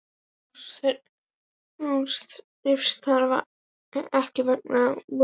Lús þreifst þar ekki vegna vosbúðar.